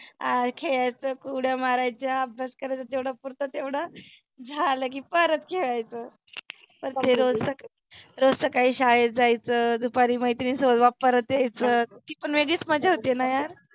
अं खेळायच उड्या मारायच्या अभ्यास करायचा तेव्हढ्या पुरत तेवढं. झालं की परत खेळायच परत हे रोजचच . रोज सकाळी शाळेत जायचं दुपारी मैत्रिनी सोबत परत यायचं. ती पण वेगळीच मजा होतीना यार.